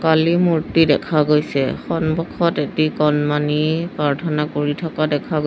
কালী মূৰ্তি দেখা গৈছে সন্মুখত এটি কণমানি প্ৰাৰ্থনা কৰি থকা দেখা গৈ--